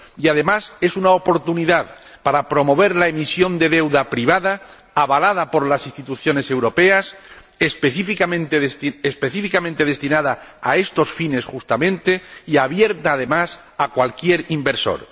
Además, es una oportunidad para promover la emisión de deuda privada, avalada por las instituciones europeas, específicamente destinada a estos fines justamente, y abierta, además, a cualquier inversor.